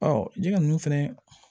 Ɔ jɛgɛ ninnu fɛnɛ